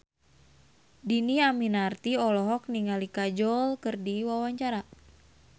Dhini Aminarti olohok ningali Kajol keur diwawancara